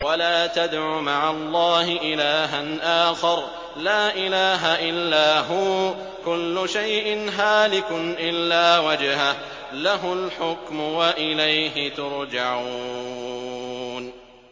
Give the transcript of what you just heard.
وَلَا تَدْعُ مَعَ اللَّهِ إِلَٰهًا آخَرَ ۘ لَا إِلَٰهَ إِلَّا هُوَ ۚ كُلُّ شَيْءٍ هَالِكٌ إِلَّا وَجْهَهُ ۚ لَهُ الْحُكْمُ وَإِلَيْهِ تُرْجَعُونَ